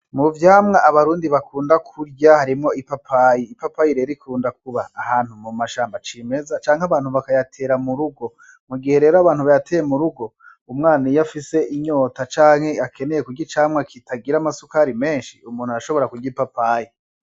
Muvyamwa abarundi bakunda kurya harimwo ipapayi, ipapayi rero ikunda kuba ahantu mu mashamba c'imeza canke abantu bakayatera m'urugo, mugihe rero abantu bayateye m'urugo umwana iyo afise inyota canke akeneye kurya icamwa kitagira amasukari menshi umuntu arashobora kurya ipapayi.